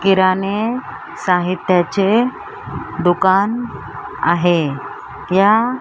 किराणे साहित्याचे दुकान आहे या --